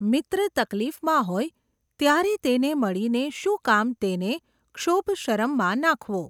મિત્ર તકલીફમાં હોય, ત્યારે તેને મળીને શું કામ તેને, ક્ષોભ શરમમાં નાંખવો !.